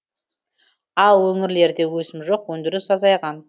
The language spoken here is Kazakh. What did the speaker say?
ал өңірлерде өсім жоқ өндіріс азайған